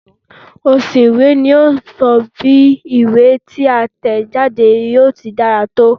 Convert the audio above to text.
Òsùn ìwé ni yíò sọ bí ìwé tí a tẹ̀ jáde yíò ti dára tó